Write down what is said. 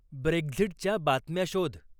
Brexit च्या बातम्या शोध